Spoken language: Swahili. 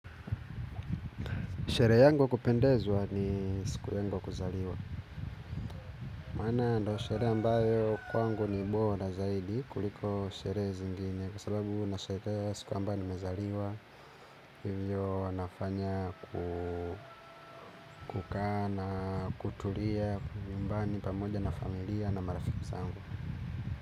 Sherehe yangu ya kupendezwa ni siku yangu ya kuzaliwa. Maana ndo sherehe ambayo kwangu ni bora zaidi kuliko sherehe zingine. Kwa sababu nashere siku ambayo nimezaliwa. Hivyo nafanya kukaa na, kutulia, nyumbani, pamoja na familia na marafiki zangu.